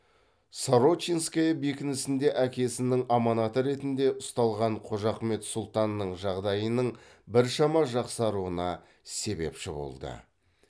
сорочинская бекінісінде әкесінің аманаты ретінде ұсталған қожахмет сұлтанның жағдайының біршама жақсаруына себепші болды